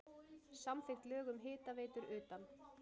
Samþykkt lög um hitaveitur utan